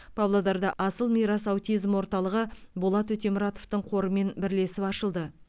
павлодарда асыл мирас аутизм орталығы болат өтемұратовтың қорымен бірлесіп ашылды